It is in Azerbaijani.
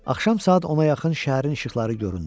Axşam saat ona yaxın şəhərin işıqları göründü.